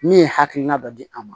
Min ye hakilina dɔ di an ma